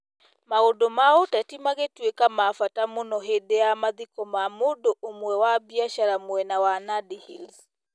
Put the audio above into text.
Maũndũ ma ũteti magĩtuĩka ma bata mũno hĩndĩ ya mathiko ma mũndũ ũmwe wa biacara mwena wa Nandi Hills.